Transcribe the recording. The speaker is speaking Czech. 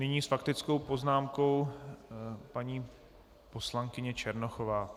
Nyní s faktickou poznámkou paní poslankyně Černochová.